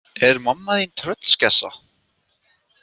Er mamma þín tröllskessa?